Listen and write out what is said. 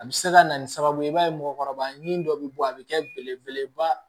A bɛ se ka na ni sababu ye i b'a ye mɔgɔkɔrɔba ɲini dɔ bɛ bɔ a bɛ kɛ belebeleba